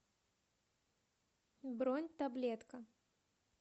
бронь таблетка